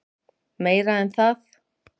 Meira en það.